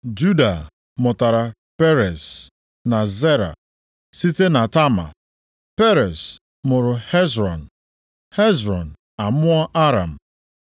Juda mụtara Perez na Zera site na Tama, Perez mụrụ Hezrọn, Hezrọn amụọ Aram.